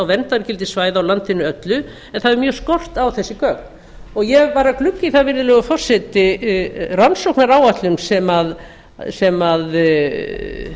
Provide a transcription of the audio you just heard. verndargildi svæða á landinu öllu en það hefur mjög skort á þessi gögn og ég var að glugga í það virðulegur forseti rannsóknaráætlun sem